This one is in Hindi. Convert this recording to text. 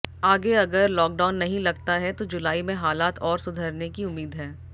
आगे अगर लॉकडाउन नहीं लगता है तो जुलाई में हालात और सुधरने की उम्मीद है